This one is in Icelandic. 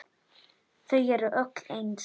Þau eru öll eins.